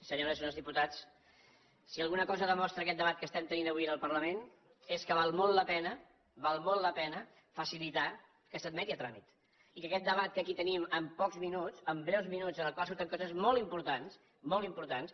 senyores i senyors diputats si alguna cosa demostra aquest debat que estem tenint avui en el parlament és que val molt la pena val molt la pena facilitar que s’admeti a tràmit i que aquest debat que aquí tenim amb pocs minuts amb breus minuts en el qual surten coses molt importants